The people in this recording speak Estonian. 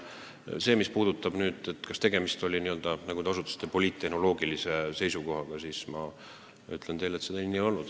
Mis puudutab seda, kas tegemist oli, nagu te ütlesite, poliittehnoloogilise seisukohaga, siis ma ütlen teile, et see nii ei olnud.